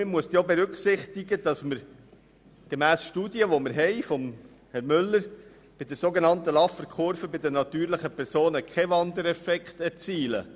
Man muss aber auch berücksichtigen, dass man damit gemäss vorliegenden Studien zur sogenannten Laffer-Kurve bei den natürlichen Personen keinen Wandereffekt erzielt.